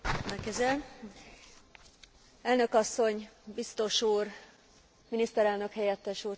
Elnök asszony, biztos úr, miniszterelnök helyettes úr, tisztelt képviselő hölgyek és urak!